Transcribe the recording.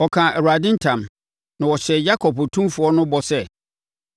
Ɔkaa Awurade ntam na ɔhyɛɛ Yakob Otumfoɔ no bɔ sɛ,